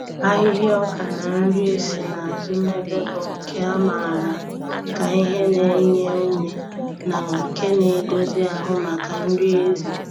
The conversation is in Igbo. Ahịhịa ọka na nri e si n’azụ mebe bụ nke a maara ka ihe na-enye ume na nke na-edozi ahụ maka nri ezi.